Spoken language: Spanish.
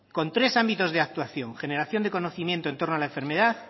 con tres ámbitos de actuación generación de conocimiento en torno a la enfermedad